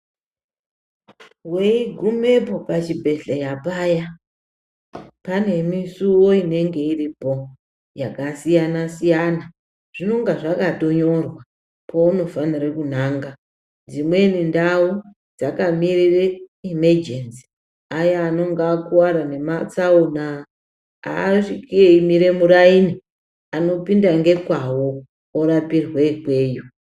Weigumepo pachibhehleya paya, pane musiwo inenge iripo yakasiya_siyana zvinonga zvakatonyorwa paunofanire kunanga. Dzimweni ndau dzakamirire imejenzi, aya anonga akuwara nematsaona asviki eimire muraini anopinda ngekwavo orapirwe ikweyo.